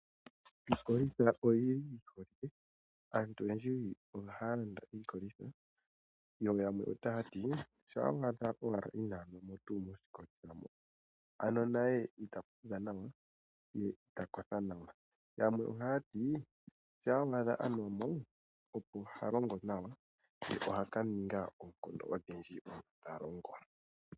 Iikolitha oyi holike. Aantu oyendji ohaya landa iikolitha. Yo yamwe taya ti: "shampa wa adha inaa nwa mo miikolitha moka naye ita fudha nawa, ye ita kotha nawa." Yamwe ohaya ti: "Shampa wa adha a nwa mo, opo ha longo nawa ye oha ka ninga oonkondo odhindji uuna ta longo."